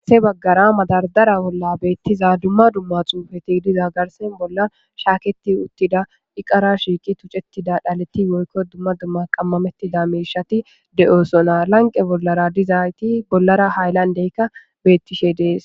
se baggara madardara bolla beettiza dumma dumma xuufeti diza garsen bolla shaaketi uttida iqara shiiki tucettida dhaleti woykko dumma dumma qammamettida meshati de7osona lanqe bollara dizayti bollara haaylandeykka beettishe dees